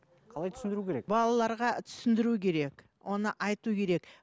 қалай түсіндіру керек балаларға түсіндіру керек оны айту керек